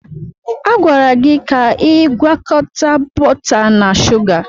A gwara gị ka ị gwakọta bọta na shuga!